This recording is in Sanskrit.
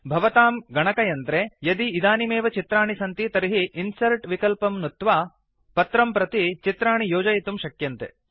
भवतां गणकयंत्रे यदि इदानीं एव चित्राणि सन्ति तर्हि इन्सर्ट् विकल्पं नुत्वा पत्रं प्रतिशीट् चित्राणि योजयितुं शक्यन्ते